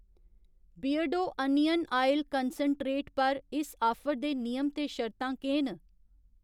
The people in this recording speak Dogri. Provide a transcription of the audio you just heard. बियरडो अनियन आयल कंसैंट्रेट पर इस आफर दे नियम ते शर्तां केह् न ?